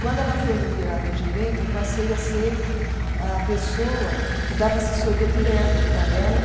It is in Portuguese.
Quando ela foi nomeada gerente, eu passei a ser a pessoa que dava assessoria direta para ela.